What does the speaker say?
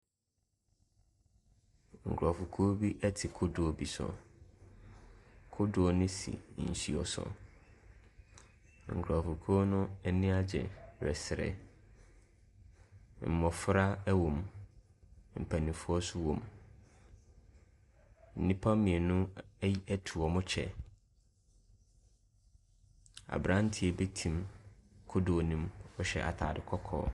Nkurofokuo bi ɛte kodoɔ bi so. Kodoɔ no si nsuo so. Nkurofokuo no ani agye resere. Mmofra ɛwom. Mpanyinfoɔ so ɛwom. Nnipa mmienu etu wɔn mo kyɛ. Abranteɛ bi te kodoɔ no mu, ɔhyɛ ataade kɔkɔɔ.